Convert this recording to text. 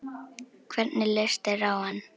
Hvernig leist þér á hann?